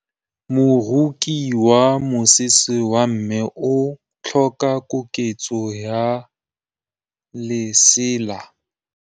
Moroki wa mosese wa me o tlhoka koketsô ya lesela.